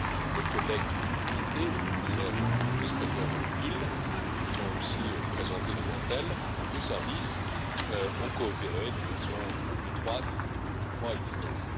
Mes collègues, qui ont été cités, les commissaires Vestager et Hill, se sont aussi présentés devant elle et nos services ont coopéré de façon étroite et, je crois, efficace.